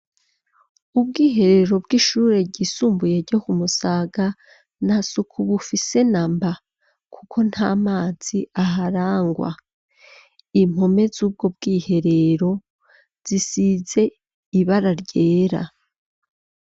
Ubwiherero bwo kwishuri ry'isumbuye ryo Ku Musaga ntasuku bufise namba ko ntamazi aharangwa impome zuko bwiherero zisize ibara ryera.